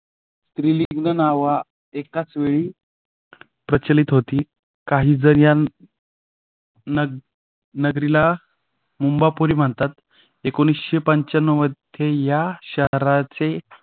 स्त्रीलिंग नावा एकाच वेळी प्रचलित होती. काहीजण या नग नगरीला मुंबापुरी म्हणतात एकोणीस पंचानो मध्ये या शहराचे